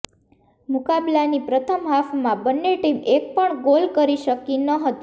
મુકાબલાની પ્રથમ હાફમાં બંને ટીમ એક પણ ગોલ કરી શકી નહોતી